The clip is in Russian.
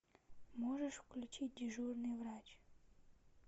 можешь включить дежурный врач